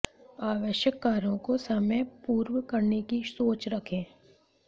आवश्यक कार्यों को समयपूर्व करने की सोच रखें